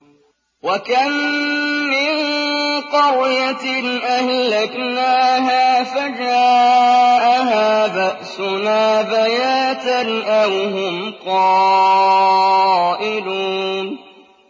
وَكَم مِّن قَرْيَةٍ أَهْلَكْنَاهَا فَجَاءَهَا بَأْسُنَا بَيَاتًا أَوْ هُمْ قَائِلُونَ